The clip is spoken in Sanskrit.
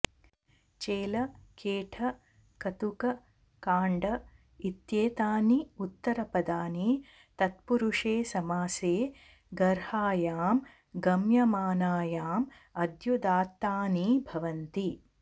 चेल खेट कतुक काण्ड इत्येतानि उत्तरपदानि तत्पुरुसे समासे गर्हायां गम्यमानायाम् आद्युदात्तानि भवन्ति